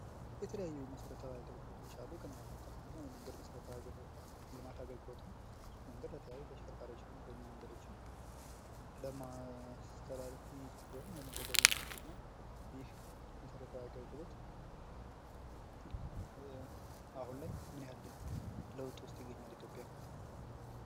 የተለያዩ መሰረታዊ አገልግሎቶች አሉ። አንደኛው የመንገድ መሰረታዊ አገልግሎት ነው። ይህ መንገድ ለተለያዩ ተሽከርካሪዎች እና እግረኛ መንገዶች ለማስተላለፍ እና ለመጓጓዣነት ይጠቅማል። ይህ መሰረታዊ አገልግሎት አሁን ላይ ምን ያህል ለውጥ ውስጥ ይገኛል? ኢትዮጵያ?